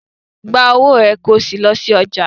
Gba owó è kí o sí lọ sí ọjà.